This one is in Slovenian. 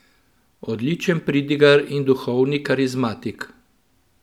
Odličen pridigar in duhovni karizmatik!